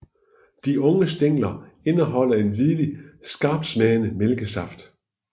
De unge stængler indeholder en hvidlig skarptsmagende mælkesaft